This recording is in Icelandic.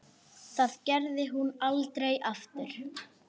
Það gerði hún aldrei aftur.